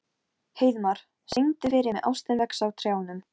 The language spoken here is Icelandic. Heiðmar, syngdu fyrir mig „Ástin vex á trjánum“.